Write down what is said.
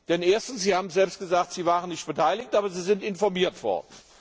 Denn erstens Sie haben es selbst gesagt waren Sie nicht beteiligt, aber Sie sind informiert